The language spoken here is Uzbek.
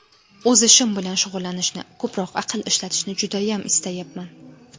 O‘z ishim bilan shug‘ullanishni, ko‘proq aql ishlatishni judayam istayapman.